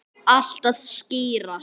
Allt að skýrast